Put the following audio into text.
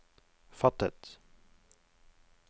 fattet